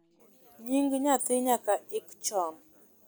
nying nyathi nyaka ik chon